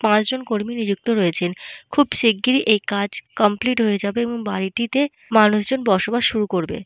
পাঁচজন কর্মী নিযুক্ত রয়েছেন। খুব শিগগিরই এই কাজ কমপ্লিট হয়ে যাবে এবং বাড়িটিতে মানুষজন বসবাস শুরু করবে।